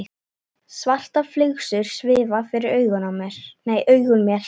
Svartar flygsur svifu fyrir augum mér.